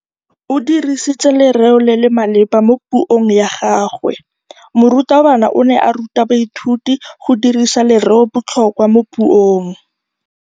O dirisitse lerêo le le maleba mo puông ya gagwe. Morutabana o ne a ruta baithuti go dirisa lêrêôbotlhôkwa mo puong.